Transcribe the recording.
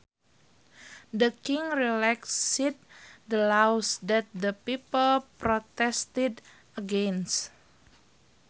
The king relaxed the laws that the people protested against